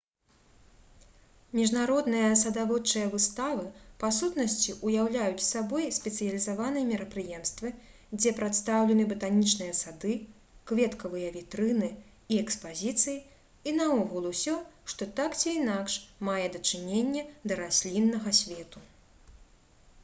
міжнародныя садаводчыя выставы па сутнасці ўяўляюць сабой спецыялізаваныя мерапрыемствы дзе прадстаўлены батанічныя сады кветкавыя вітрыны і экспазіцыі і наогул усё што так ці інакш мае дачыненне да расліннага свету